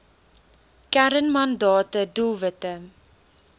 kern mandate doelwitte